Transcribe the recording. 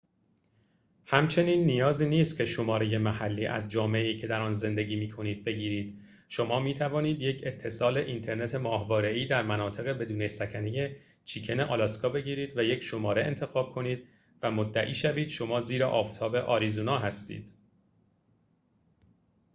همچنین نیازی نیست که شماره محلی از جامعه‌ای که در آن زندگی می‌کنید بگیرید شما می‌توانید یک اتصال اینترنت ماهواره‌ای در مناطق بدون سکنه چیکن آلاسکا بگیرید و یک شماره انتخاب کنید و مدعی شوید شما زیر آفتاب آریزونا هستید